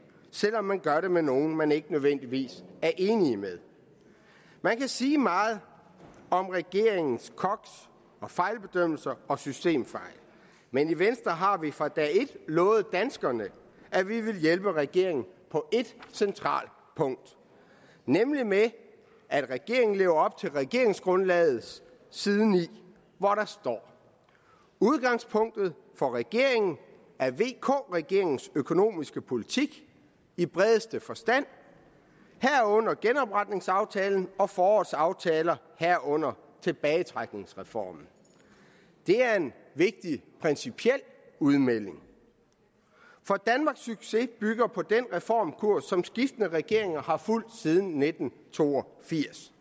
selv om man gør det med nogle man ikke nødvendigvis er enig med man kan sige meget om regeringens koks og fejlbedømmelser og systemfejl men i venstre har vi fra dag et lovet danskerne at vi vil hjælpe regeringen på et centralt punkt nemlig med at regeringen lever op til regeringsgrundlagets side ni hvor der står udgangspunktet for regeringen er vk regeringens økonomiske politik i bredeste forstand herunder genopretningsaftalen og forårets aftaler herunder tilbagetrækningsreformen det er en vigtig principiel udmelding for danmarks succes bygger på den reformkurs som skiftende regeringer har fulgt siden nitten to og firs